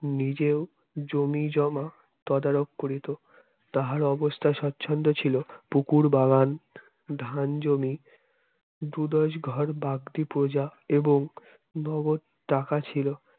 নিজেও জমি জমা তদারক করিতো তাহার অবস্থা স্বচ্ছন্দ্য ছিল পুকুর বাগান ধান জমি দু দশ ঘর বাগদি প্রজা এবং নগদ টাকা ছিল